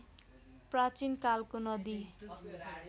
प्राचीन कालको नदी